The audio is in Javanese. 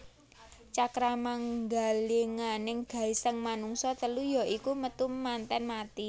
Cakramanggilinganing gesang manungsa telu ya iku Metu Manten Mati